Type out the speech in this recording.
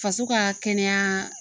Faso ka kɛnɛya